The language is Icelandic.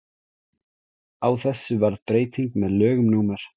á þessu varð breyting með lögum númer